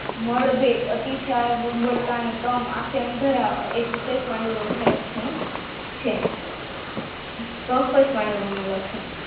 નળભેદ અતિશય દુર્બળતા ને તમ આંખે અંધારા આવવા આ પાંડુ રોગના લક્ષણો છે